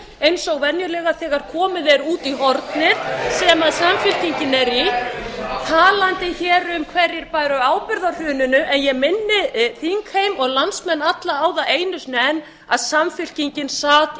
eins og venjulega þegar komið er út í hornið sem samfylkingin er í talandi hér um hverjir bæru ábyrgð á hruninu ég minni þingheim og landsmenn alla á það einu sinni enn að samfylkingin sat í